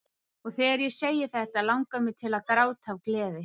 Og þegar ég segi þetta langar mig til að gráta af gleði.